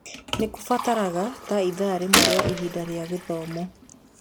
Nĩ kũbataraga ta ithaa rĩmwe rĩa ihinda rĩa gĩthomo.